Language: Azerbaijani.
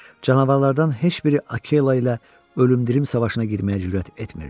Canavarlardan heç biri Akela ilə ölümdirim savaşına girməyə cürət etmirdi.